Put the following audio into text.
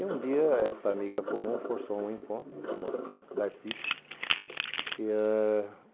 E um dia essa amiga comum forçou um encontro, essa moça chama-se Darcy. E ãh